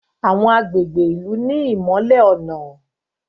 Àwọn agbègbè ilú ní imọlẹ ọnà